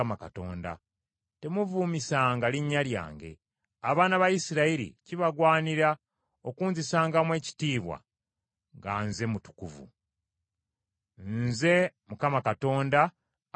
Temuvumisanga linnya lyange. Abaana ba Isirayiri kibagwanira okunzisangamu ekitiibwa nga Nze mutukuvu. Nze Mukama Katonda abatukuza mmwe,